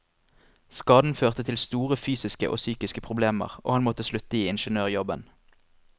Skaden førte til store fysiske og psykiske problemer, og han måtte slutte i ingeniørjobben.